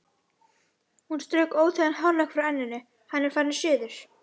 Hún strauk óþægan hárlokk frá enninu: Hann er farinn suður